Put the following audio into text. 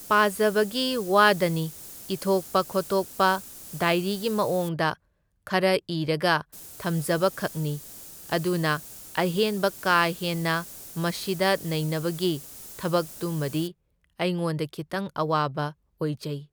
ꯄꯥꯖꯕꯒꯤ ꯋꯥꯗꯅꯤ ꯏꯊꯣꯛꯄ ꯈꯣꯇꯣꯛꯄ ꯗꯥꯏꯔꯤꯒꯤ ꯃꯑꯣꯡꯗ ꯈꯔ ꯏꯔꯒ ꯊꯝꯖꯕꯈꯛꯅꯤ, ꯑꯗꯨꯅ ꯑꯍꯦꯟꯕ ꯀꯥ ꯍꯦꯟꯅ ꯃꯁꯤꯗ ꯅꯩꯅꯕꯒꯤ ꯊꯕꯛꯇꯨꯃꯗꯤ ꯑꯩꯉꯣꯟꯗ ꯈꯤꯇꯪ ꯑꯋꯥꯕ ꯑꯣꯏꯖꯩ꯫